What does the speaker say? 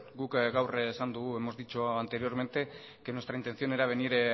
guk gaur esan dugu hemos dicho anteriormente que nuestra intención era venir